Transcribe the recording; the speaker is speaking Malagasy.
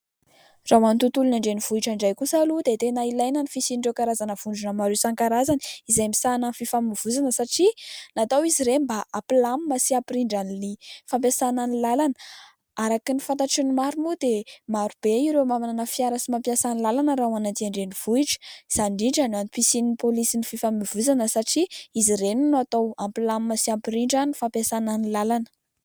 raha ho any tontolon'ny an-drenivohitra indray kosa aloha dia tena ilaina ny fisian'ireo karazana vondrona maro isan-karazany, izay misahana ny fifamoivozana satria natao izy ireny mba hampilamina sy hampirindra ny fampiasanan'ny lalana. Araky ny fantatry ny maro moa dia marobe ireo manana fiara sy mampiasany lalana. Raha ho any aty an-drenivohitra; izany indrindra ny antom-pisian'ny polisy ny fifamoivozana satria izy reny no hatao hampilamina sy hampirindran'ny fampiasanan'ny lalana.